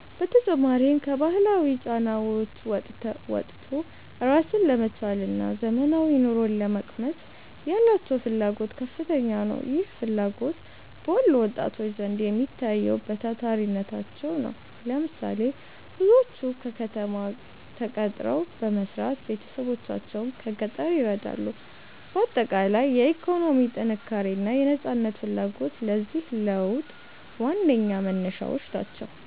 በተጨማሪም፣ ከባህላዊ ጫናዎች ወጥቶ ራስን ለመቻልና ዘመናዊ ኑሮን ለመቅመስ ያላቸው ፍላጎት ከፍተኛ ነው። ይህ ፍላጎት በወሎ ወጣቶች ዘንድ የሚታየው በታታሪነታቸው ነው። ለምሳሌ፦ ብዙዎቹ በከተማ ተቀጥረው በመስራት ቤተሰቦቻቸውን ከገጠር ይረዳሉ። ባጠቃላይ፣ የኢኮኖሚ ጥንካሬና የነፃነት ፍላጎት ለዚህ ለውጥ ዋነኛ መነሻዎች ናቸው።